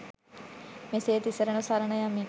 මෙසේ තිසරණ සරණ යමින්